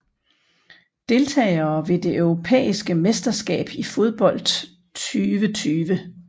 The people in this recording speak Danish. Deltagere ved det europæiske mesterskab i fodbold 2020